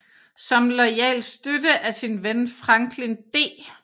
Som loyal støtte af sin ven Franklin D